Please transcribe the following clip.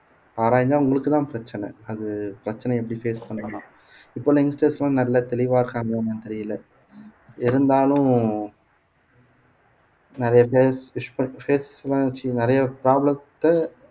ஆராய்ஞ்சா உங்களுக்குத்தான் பிரச்சனை அது பிரச்சனைய எப்படி face பண்ணணும் இப்பெல்லாம் youngsters எல்லாம் நல்லா தெளிவா இருக்காங்களான்னு தெரியலே இருந்தாலும் நிறைய பேர் எல்லாம் வச்சு நிறைய problem த்தை